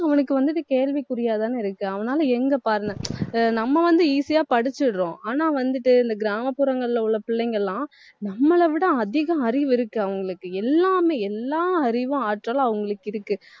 அவனுக்கு வந்துட்டு, கேள்விக்குறியாதானே இருக்கு அவனால எங்க நம்ம வந்து easy யா படிச்சுடுறோம். ஆனா வந்துட்டு, இந்த கிராமப்புறங்கள்ல உள்ள பிள்ளைங்க எல்லாம் நம்மள விட அதிக அறிவு இருக்கு அவங்களுக்கு எல்லாமே எல்லா அறிவும் ஆற்றலும் அவங்களுக்கு இருக்கு